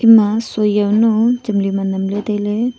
ema shui jawnu temli ma namla taile